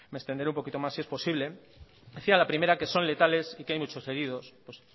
me extenderé un poquito más si es posibles decía la primera que son letales y que hay muchos heridos pues